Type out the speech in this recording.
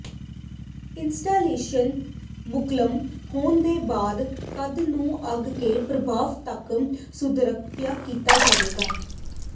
installation ਮੁਕੰਮਲ ਹੋਣ ਦੇ ਬਾਅਦ ਕੰਧ ਨੂੰ ਅੱਗ ਦੇ ਪ੍ਰਭਾਵ ਤੱਕ ਸੁਰੱਖਿਅਤ ਕੀਤਾ ਜਾਵੇਗਾ